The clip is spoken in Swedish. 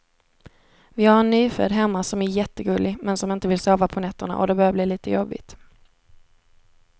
Vi har en nyfödd hemma som är jättegullig, men som inte vill sova på nätterna och det börjar bli lite jobbigt.